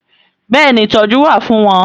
Bẹ́ẹ̀ni ìtọ́jú wà fún wọn